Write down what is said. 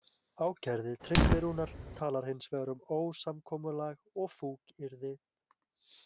Ákærði Tryggvi Rúnar talar hins vegar um ósamkomulag og fúkyrði.